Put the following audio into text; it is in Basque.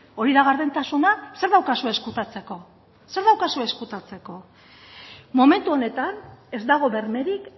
hori da gardentasuna zer daukazue ezkutatzeko momentu honetan ez dago bermerik